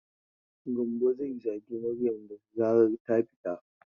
Gambo zai zage Maryam da zarar ta fita.